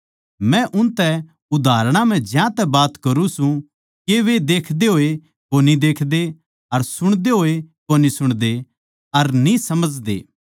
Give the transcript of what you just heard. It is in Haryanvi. मै उनतै उदाहरणां म्ह ज्यांतै बात करूँ सूं के वे देखदे होए कोनी देखदे अर सुणदे होए कोनी सुणदे अर न्ही समझदे